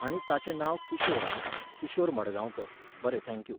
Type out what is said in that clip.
आनी ताचें नांव किशोर आं, किशोर मडगांवकार, बरें थँक्यू